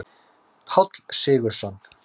Páll Sigurðsson.